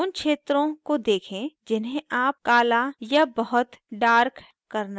उन क्षेत्रों को देखें जिन्हें आप काल या बहुत dark करना चाहते हैं